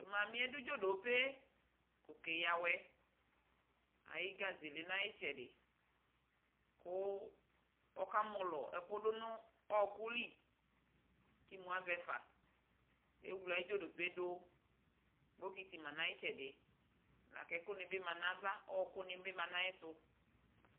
Tʋ mamɩ yɛ dʋ dzodope kʋ ɔkeyǝ awɛ Ayʋ gaze yɛ lɛ nʋ ayʋ ɩtsɛdɩ kʋ ɔkamɔlɔ ɛkʋ dʋ nʋ ɔɣɔkʋ li kʋ imu avɛ fa Ewle ayʋ dzodope yɛ dʋ Bokɩtɩ ma nʋ ayʋ ɩtsɛdɩ la kʋ ɛkʋnɩ bɩ ma nʋ ava Ɔɣɔkʋnɩ bɩ ma nʋ ayɛtʋ